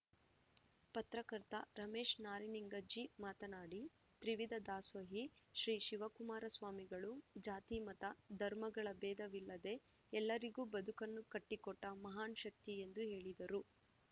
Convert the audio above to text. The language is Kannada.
ಪತ್ರಕರ್ತ ರಮೇಶ್‌ ನಾರಿನಿಂಗಜ್ಜಿ ಮಾತನಾಡಿ ತ್ರಿವಿಧ ದಾಸೋಹಿ ಶ್ರೀ ಶಿವಕುಮಾರ ಸ್ವಾಮಿಗಳು ಜಾತಿ ಮತ ಧರ್ಮಗಳ ಬೇಧವಿಲ್ಲದೆ ಎಲ್ಲರಿಗೂ ಬದುಕನ್ನು ಕಟ್ಟಿಕೊಟ್ಟಮಹಾನ್‌ ಶಕ್ತಿ ಎಂದು ಹೇಳಿದರು